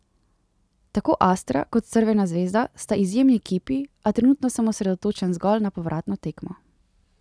Tako Astra kot Crvena zvezda sta izjemni ekipi, a trenutno sem osredotočen zgolj na povratno tekmo.